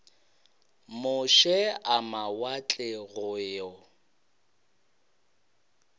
moše a mawatle go yo